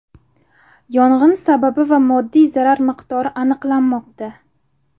Yong‘in sababi va moddiy zarar miqdori aniqlanmoqda.